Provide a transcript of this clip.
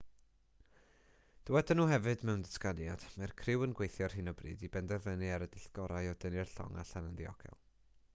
dywedon nhw hefyd mewn datganiad mae'r criw yn gweithio ar hyn o bryd i benderfynu ar y dull gorau o dynnu'r llong allan yn ddiogel